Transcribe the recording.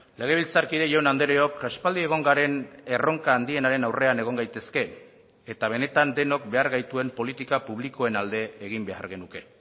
legebiltzarkide jaun andreok aspaldi egon garen erronka handienaren aurrean egon gaitezke eta benetan denok behar gaituen politika publikoen alde egin behar genuke